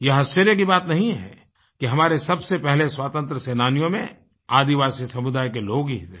यह आश्चर्य की बात नहीं है कि हमारे सबसे पहले स्वतंत्र सेनानियों में आदिवासी समुदाय के लोग ही थे